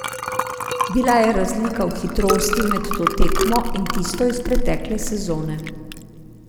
Bila je razlika v hitrosti med to tekmo in tisto iz pretekle sezone.